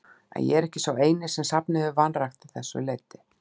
En ég er ekki sá eini, sem safnið hefur vanrækt að þessu leyti.